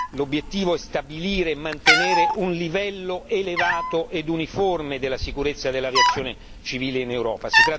L'obiettivo è stabilire e mantenere un livello elevato e uniforme della sicurezza dell'aviazione civile in Europa.